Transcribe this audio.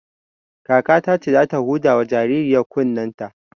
Kakata ce za ta huda wa jaririyar kunnen ta